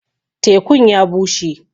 Tēku'n ya bushe.